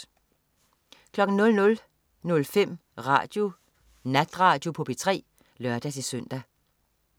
00.05 Natradio på P3 (lør-søn)